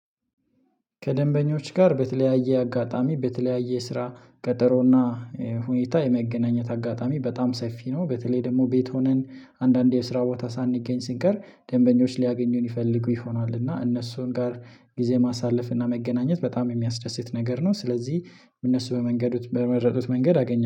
ከደንበኞች ጋር በተለያየ አጋጣሚ በተለያየ ስራ ቀጠሮና ሁኔታ የመገናኘት አጋጣሚ በጣም ሰፊ ነው። በተለይ ደግሞ ቤት ሆነን አንዳንዴ የስራ ቦታ ሳንገኝ ስንቀር ደንበኞች ሊያገኙን ይፈልጉ ይሆናል። እና እነሱን ጋር ጊዜ ማሳለፍ እና መገናኘት በጣም የሚያስደስት ነገር ነው። ስለዚህ እነሱ በመንገዱት በመረጡት መንገድ አገኘ